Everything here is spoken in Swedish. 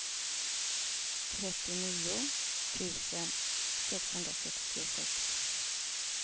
trettionio tusen sexhundrasextiosex